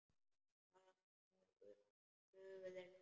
Hvað flugu þeir langt?